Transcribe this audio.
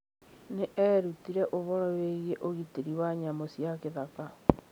Nĩ eerutire ũhoro wĩgiĩ ũgitĩri wa nyamũ cia gĩthaka.